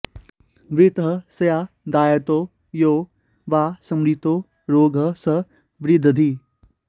वृत्तः स्यादायतो यो वा स्मृतो रोगः स विद्रधिः